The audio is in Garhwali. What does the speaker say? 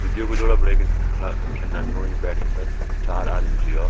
दुई दुई का जोड़ा बाणेके खड़ा खैना भी ये बैटमिंटन चार आदमी छ यो।